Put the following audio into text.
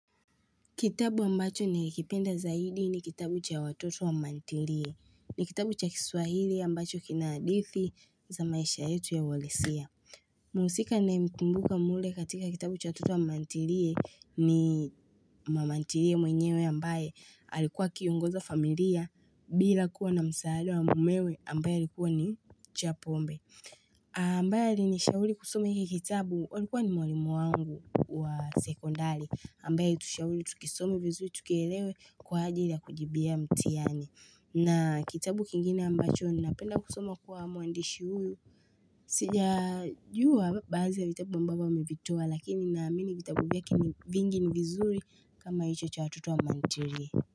Kitabu ambacho nilikipenda zaidi ni kitabu cha watoto wa mantirie. Ni kitabu cha kiswahili ambacho kina hadithi za maisha yetu ya walesia. Mhusika ninayemkumbuka mule katika kitabu cha watoto wa mantirie ni mamantirie mwenyewe ambaye alikuwa akiongoza familia bila kuwa na msaada wa mumewe ambaye alikuwa ni chapombe. Ambaye alinishauri kusoma hiki kitabu alikuwa ni mwalimu wangu wa sekondari ambaye alitushauri tukisome vizuri tukielewe kwa ajili ya kujibia mtihani na kitabu kingine ambacho ninapenda kusoma kwa mwandishi huyu Sijajua baadhi ya vitabu ambavyo amevitoa lakini naamini vitabu vyake ni vingi ni vizuri kama hicho cha watoto wa mantirie.